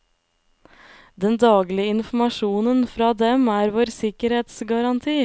Den daglige informasjonen fra dem er vår sikkerhetsgaranti.